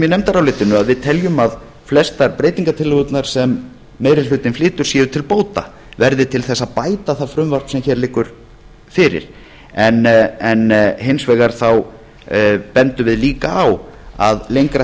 í nefndarálitinu að að við teljum að flestar breytingartillögurnar sem meiri hlutinn flytur séu til bóta verði til þess að bæta það frumvarp sem hér liggur fyrir hins vegar bendum við líka á að lengra